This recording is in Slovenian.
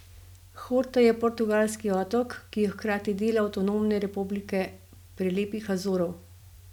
Horta je portugalski otok, ki je hkrati del avtonomne republike prelepih Azorov.